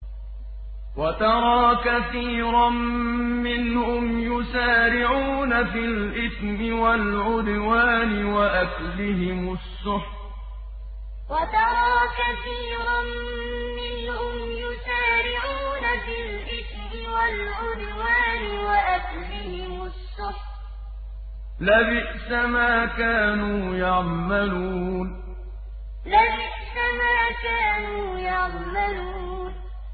وَتَرَىٰ كَثِيرًا مِّنْهُمْ يُسَارِعُونَ فِي الْإِثْمِ وَالْعُدْوَانِ وَأَكْلِهِمُ السُّحْتَ ۚ لَبِئْسَ مَا كَانُوا يَعْمَلُونَ وَتَرَىٰ كَثِيرًا مِّنْهُمْ يُسَارِعُونَ فِي الْإِثْمِ وَالْعُدْوَانِ وَأَكْلِهِمُ السُّحْتَ ۚ لَبِئْسَ مَا كَانُوا يَعْمَلُونَ